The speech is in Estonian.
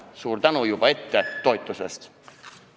Suur tänu juba ette toetuse eest!